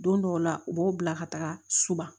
Don dɔw la u b'aw bila ka taga so ba